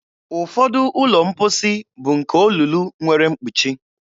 Ụfọdụ ụlọ mposi bụ nke olulu nwere mkpuchi.